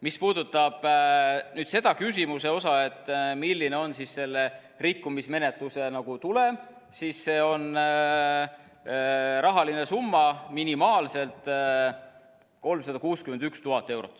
Mis puudutab küsimust, milline on selle rikkumismenetluse tulem, siis see on rahaline trahv, minimaalselt 361 000 eurot.